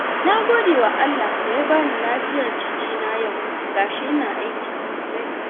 Na gode wa Allah da ya bani lafiyar jikina yau ga shi ina aiki sosai.